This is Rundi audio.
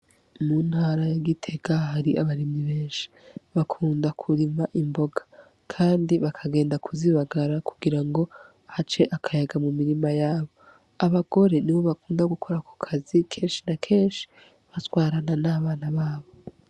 Mu ntara ya Gitega hari abarimyi benshi. Bakunda kurima imboga, kandi bakagenda kuzibagara kugira ngo hace akayaga mu mirima yabo. Abagore nibo bakunda gukora ako kazi, kenshi na kenshi batwarana n'abana babo.